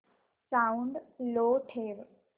sound लो ठेव